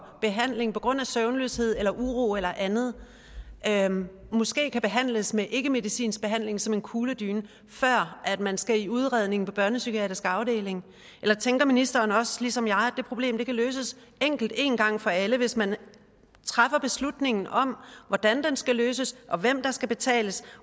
behandling på grund af søvnløshed eller uro eller andet andet måske kan behandles med ikkemedicinsk behandling som en kugledyne før man skal i udredning på børnepsykiatrisk afdeling eller tænker ministeren også ligesom jeg at det problem kan løses enkelt en gang for alle hvis man træffer beslutningen om hvordan det skal løses og hvem der skal betale